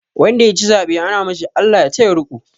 Wanda ya ci zaɓe ana ce ma shi "Allah ya taya riƙo"